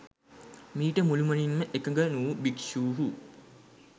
මීට මුළුමනින්ම එකග නුවූ භික්‍ෂූහු